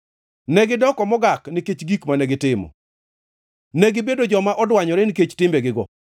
Negidoko mogak nikech gik mane gitimo; negibedo joma odwanyore, nikech timbegigo.